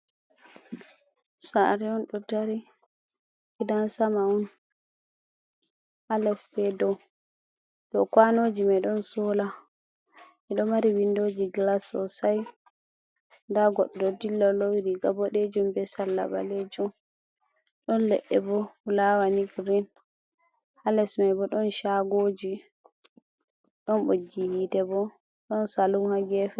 Sare on ɗo dari gidan sama on ha les be dow. Dow kwanoji mai ɗon sola mi ɗo mari windoji glas sosai nda goɗɗo ɗo dilla lowi riga boɗejum be sarla ɓalejum ɗon leɗɗe be fulawa ni girin ha les mai bo ɗon shagoji ɗon ɓoggi hite bo ɗon salun ha gefe.